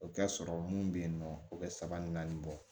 O ka sɔrɔ mun be yen nɔ o be saba ni naani bɔ